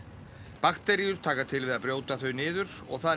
bakteríur taka til við að brjóta þau niður og það